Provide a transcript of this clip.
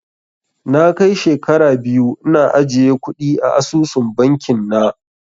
Na kai shekara biyu ina ajiye kuɗi a asusun bankin na